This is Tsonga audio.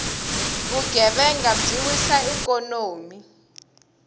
vugevhenga byi wisa ikhonomi